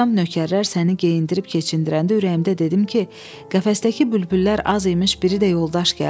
Axşam nökərlər səni geyindirib keçindirəndə ürəyimdə dedim ki, qəfəsdəki bülbüllər az imiş, biri də yoldaş gəldi.